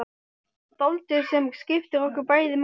Dáldið sem skiptir okkur bæði máli.